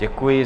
Děkuji.